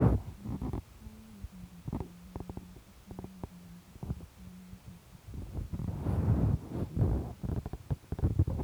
Kanyaet komuuch kopataa kengalachii anan kigochii toretet nepoo portoo ,ana ketildaa kou siryat